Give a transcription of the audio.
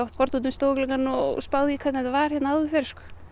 horft út um stofugluggann og spáð í því hvernig þetta var hérna áður fyrr því